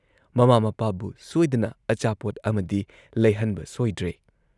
ꯃꯃꯥ ꯃꯄꯥꯕꯨ ꯁꯣꯏꯗꯅ ꯑꯆꯥꯄꯣꯠ ꯑꯃꯗꯤ ꯂꯩꯍꯟꯕ ꯁꯣꯏꯗ꯭ꯔꯦ ꯫